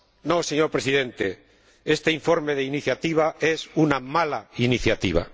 No, señor Presidente, este informe de iniciativa es una mala iniciativa.